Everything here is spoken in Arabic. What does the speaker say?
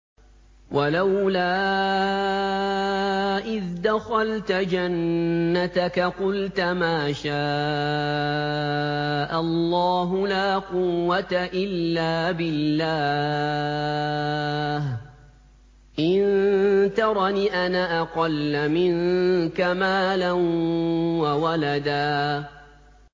وَلَوْلَا إِذْ دَخَلْتَ جَنَّتَكَ قُلْتَ مَا شَاءَ اللَّهُ لَا قُوَّةَ إِلَّا بِاللَّهِ ۚ إِن تَرَنِ أَنَا أَقَلَّ مِنكَ مَالًا وَوَلَدًا